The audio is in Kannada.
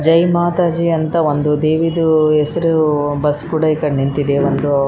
ಜೈ ಮಾತಾಜಿ ಅಂತ ಒಂದು ದೇವಿದು ಹೆಸ್ರು ಬಸ್ಸ್ ಕೂಡ ಈ ಕಡೆ ನಿಂತಿದೆ ಒಂದು.